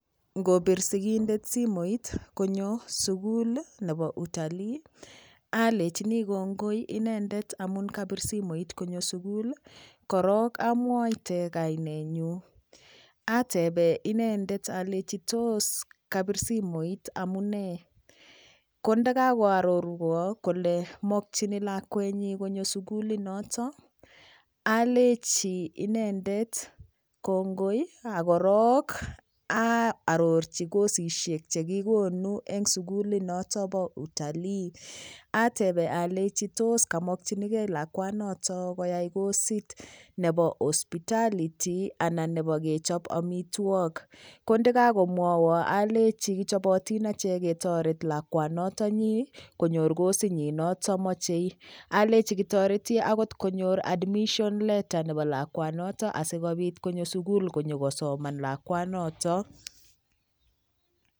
Ngopit sikindet simoit konyo sukul nebo utalii alechini kongoi inendet amun kapir simoit konyo sukul korok amwaite kanenyu atebee inendet alechi tos kabir simoit amunee kondikakoarorwa kole mokchini lakwenyi konyo sukulinoto alechi inendet kongoi akorok aarorchi kosisyek chekikonu eng sukulit noto bo utalii atebe alechi tos kamokchinigei lakwanoto koyai kosit nebo hospitality anan nebo kechop omitwok ko ndikakomwowo alechi kichobotin ache ketoret lakwanoto nyii konyor kosinyi noto mochei alechi kotoreti konyor admission letter nebo lakwanoto asikopit konyo sukul konyikosoman lakwanoto